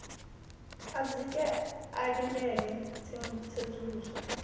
a dzike a ḽindele tsedzuluso